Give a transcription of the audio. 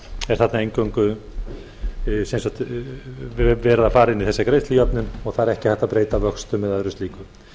er þarna eingöngu verið að fara inn i þessa greiðslujöfnun og það er ekki hægt að breyta vöxtum eða öðru slíku